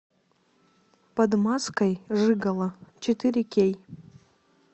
под маской жигало четыре кей